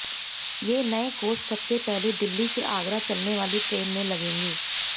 ये नये कोच सबसे पहले दिल्ली से आगरा चलने वाली ट्रेन में लगेंगे